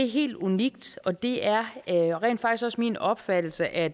helt unik og det er rent faktisk også min opfattelse at